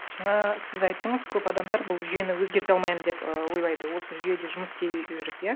жаңа сіз айттыңыз көп адамдар бұл жүйені өзгерте алмаймын деп і ойлайды осы жүйеде жұмыс істей жүріп иә